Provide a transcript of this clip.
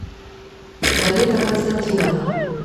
зарета константиновна